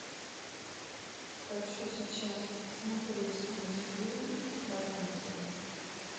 хочу сейчас посмотреть мультфильм рапунцель